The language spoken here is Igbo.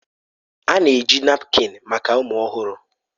A na-eji napkin maka ụmụ ọhụrụ.